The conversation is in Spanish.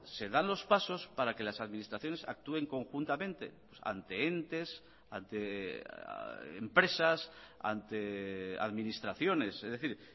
se dan los pasos para que las administraciones actúen conjuntamente ante entes ante empresas ante administraciones es decir